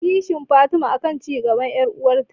Kishin Fatima akan cigaban yar'uwarta